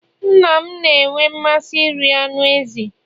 nna m na-enwe mmasị iri anụ ezi